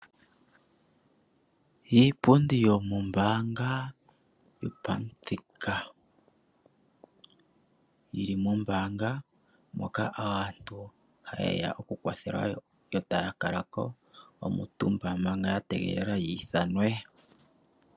Iipundi yo mo mbaanga, yo pa muthika, yili mo mbaanga moka aantu ha yeya oku kwathelwa yo taya kaka ko omutumba manga ya tegelela ya I thanwe.